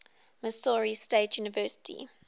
missouri state university